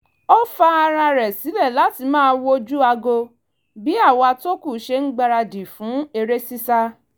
ó fa ara rẹ̀ sílẹ̀ láti máa wojú aago bí àwa tó kù ṣe ń gbáradì fún eré sísá